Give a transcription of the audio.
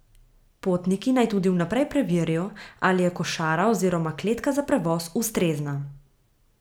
Potniki naj tudi vnaprej preverijo, ali je košara oziroma kletka za prevoz ustrezna.